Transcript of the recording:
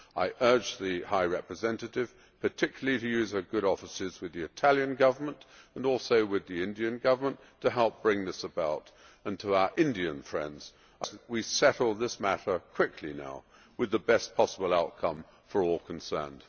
I urge the High Representative particularly to use her good offices with the Italian Government, and also with the Indian Government, to help bring this about, and I would request our Indian friends that we settle this matter quickly now with the best possible outcome for all concerned.